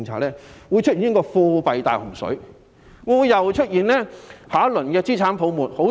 這樣引致貨幣"大洪水"，會否激發下一輪資產泡沫？